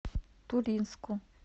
туринску